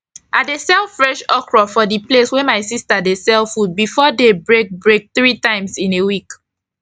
i dey drop fresh okro for the place wey my sista dey sell food before day break break three times in a week